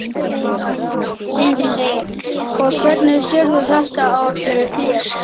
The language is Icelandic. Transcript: Sindri: Og hvernig sérðu þetta ár fyrir þér?